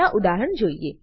ના ઉદાહરણ જોઈએ